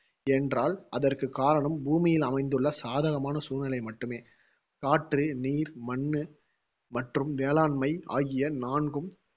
என்றால் அதற்கு காரணம் பூமியில் அமைந்துள்ள சாதகமான சூழ்நிலை மட்டுமே காற்று, நீர், மண்ணு, மற்றும் வேளாண்மை ஆகிய நான்கும்